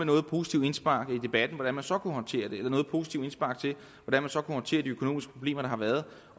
noget positivt indspark i debatten om hvordan man så kunne håndtere det eller noget positivt indspark til hvordan man så kunne håndtere de økonomiske problemer der har været